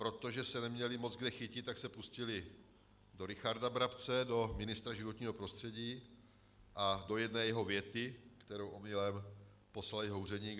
Protože se neměli moc kde chytit, tak se pustili do Richarda Brabce, do ministra životního prostředí a do jedné jeho věty, kterou omylem poslal jeho úředník.